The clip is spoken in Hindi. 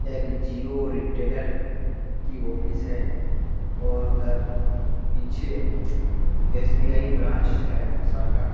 यह एक जिओ रिटेलर की ऑफिस है और उधर पीछे एस.बी.आई. ब्रांच है शाखा।